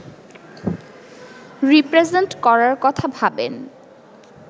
represent করার কথা ভাবেন